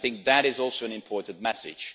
I think that is also an important message.